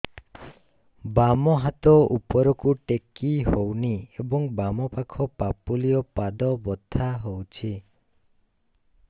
ବାମ ହାତ ଉପରକୁ ଟେକି ହଉନି ଏବଂ ବାମ ପାଖ ପାପୁଲି ଓ ପାଦ ବଥା ହଉଚି